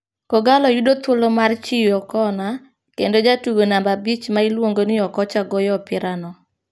Kogallo yudo thuolo mar chiyo kona, kendo jatugo namba abich ma iluongo ni Okocha goyo opirano.